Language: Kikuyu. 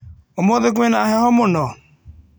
Ũmũthĩ kwĩna na heho mũno?